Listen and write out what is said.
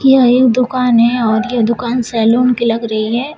यह एक दुकान है और यह दुकान सैलून की लग रही है।